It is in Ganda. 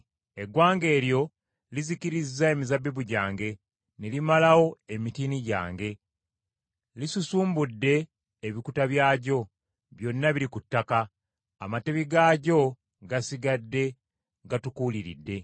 Eggwanga eryo lizikirizza emizabbibu gyange, ne limalawo emitiini gyange. Lisusumbudde ebikuta byagyo, byonna biri ku ttaka, amatabi gaagyo gasigadde gatukuuliridde.